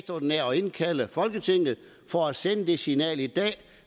indkalde folketinget for at sende det signal i dag